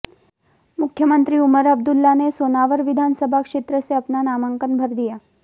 मुख्यमंत्री उमर अब्दुल्ला ने सोनावर विधानसभा क्षेत्र से अपना नामांकन भर दिया